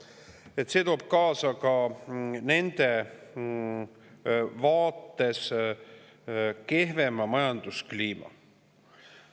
toob kaasa ka nende vaates kehvema majanduskliima.